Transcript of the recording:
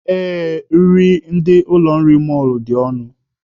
Ee, nri ndị ụlọ nri mọlụ a dị ọnụ